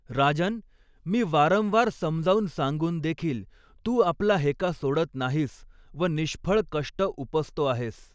राजन्, मी वारंवार समजावून सांगून देखील तू आपला हेका सोडत नाहीस व निष्फळ कष्ट उपसतो आहेस.